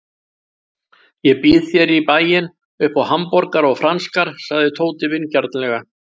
Ég býð þér í bæinn upp á hamborgara og franskar sagði Tóti vingjarnlega.